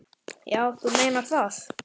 Já, þú meinar það.